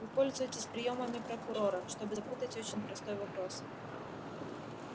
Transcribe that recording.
вы пользуетесь приёмами прокурора чтобы запутать очень простой вопрос